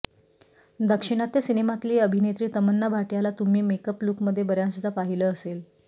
दाक्षिणात्य सिनेमातील अभिनेत्री तमन्ना भाटियाला तुम्ही मेअअप लुकमध्ये बऱ्याचदा पाहिलं असेल